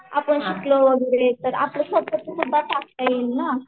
आपण शिकलो वगैरे तर आपलं स्वतःच सुध्दा टाकता येईल ना